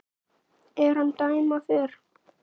er hann dæma fer